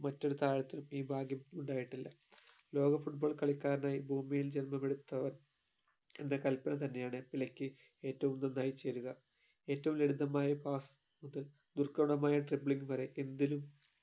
മറ്റൊരു താരത്തിനും ഈ ഭാഗ്യം ഉണ്ടായിട്ടില്ല ലോക football കളിക്കാരനായി ഭൂമിയിൽ ജന്മമെടുത്തവൻ എന്ന കൽപ്പന തന്നെയാണ് പെലെയ്ക്ക് ഏറ്റവും നന്നായി ചേരുക ഏറ്റവും ലളിതമായ pass മുതൽ ദുർഘടമായ dribbling വരെ എന്തിലും